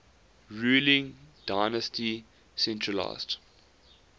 ruling dynasty centralised